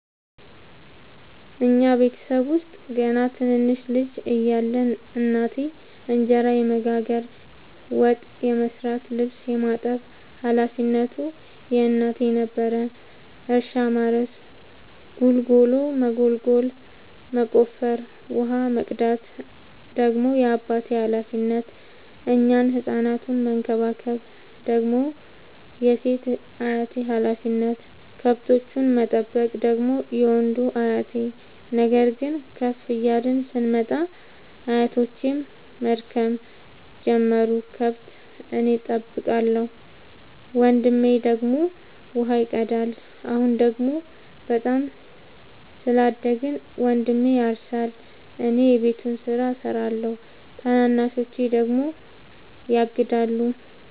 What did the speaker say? እኛ ቤተሰብ ውስጥ ገና ትንንሽ ልጅ እያለን እናቴ እንጀራ የመጋገር፤ ወጥ የመስራት ልብስ የማጠብ ሀላፊነቱ የእናቴ ነበረ። እርሻ ማረስ ጉልጎሎ መጎልጎል መቆፈር፣ ውሃ መቅዳት ደግሞ የአባቴ ሀላፊነት፤ እኛን ህፃናቱን መከባከብ ደግሞ የሴት አያቴ ሀላፊነት፣ ከብቶቹን መጠበቅ ደግሞ የወንዱ አያቴ። ነገር ግን ከፍ እያልን ስንመጣ አያቶቼም መድከም ጀመሩ ከብት እኔ ጠብቃለሁ። ወንድሜ ደግሞ ውሃ ይቀዳል። አሁን ደግሞ በጣም ስላደግን መንድሜ ያርሳ እኔ የቤቱን ስራ እሰራለሁ ታናናሾቼ ደግሞ ያግዳሉ።